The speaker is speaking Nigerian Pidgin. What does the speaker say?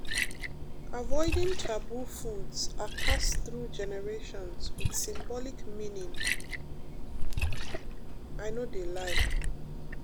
avoiding taboo foods are passed through generations wit symbolic meaning pause i no de lie